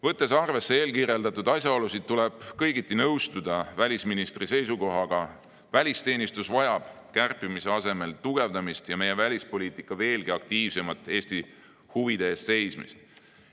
Võttes arvesse eelkirjeldatud asjaolusid, tuleb kõigiti nõustuda välisministri seisukohaga – välisteenistus vajab kärpimise asemel tugevdamist ja meie välispoliitika veelgi aktiivsemat Eesti huvide eest seismist.